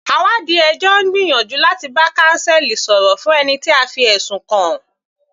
Àwáàdí ẹjọ́ ń gbìyànjú láti bá counsel sọ̀rọ̀ fún ẹni tí a fi ẹ̀sùn kàn.